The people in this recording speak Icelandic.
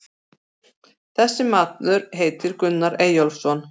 Þessi maður heitir Gunnar Eyjólfsson.